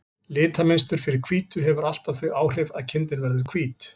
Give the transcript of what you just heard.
Litamynstur fyrir hvítu hefur alltaf þau áhrif að kindin verður hvít.